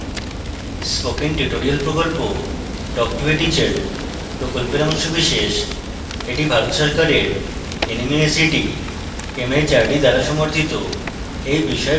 spoken tutorial প্রকল্প talk to a teacher প্রকল্পের অংশবিশেষ এটি ভারত সরকারের nmeict mhrd দ্বারা সমর্থিত এই বিষয়ে বিস্তারিত তথ্য এই link প্রাপ্তিসাধ্য